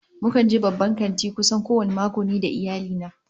Mukan je babban kanti kusan kowane mako ni da iyali na